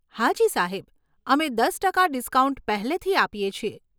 હાજી સાહેબ. અમે દસ ટકા ડિસ્કાઉન્ટ પહેલેથી આપીએ છીએ.